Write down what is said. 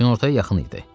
Günortaya yaxın idi.